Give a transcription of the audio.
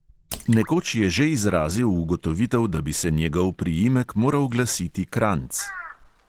Nekoč je že izrazil ugotovitev, da bi se njegov priimek moral glasiti kranjc.